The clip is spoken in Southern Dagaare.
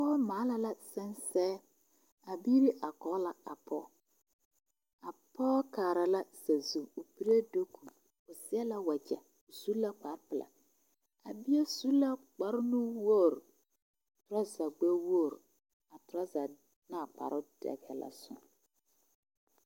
Pɔge maala la sensɛɛ a biiri are Kog la a pɔɔ a pɔɔ kaara la sazu o piree dogu o seɛ la wagye o su la kpar pelaa bie su la kpar nuwoo toraza gbɛwoo a toraza ne a kparoo dɛgɛɛ la soŋ